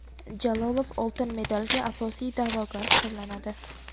Jalolov oltin medalga asosiy da’vogar hisoblanadi.